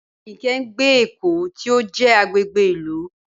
Ayinke ń gbé l'Eko tí ó jẹ́ agbègbè ìlú